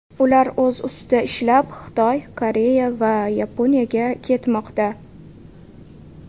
Ular o‘z ustida ishlab, Xitoy, Koreya va Yaponiyaga ketmoqda.